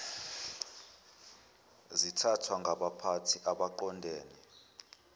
zithathwa ngabaphathi abaqondene